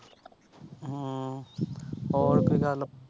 ਹਮ ਹੋਰ ਕੋਈ ਗੱਲ।